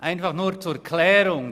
Zur Klärung: